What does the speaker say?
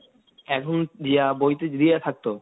দিয়া বই টই দিয়া থাকতো,